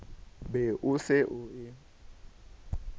be o se o e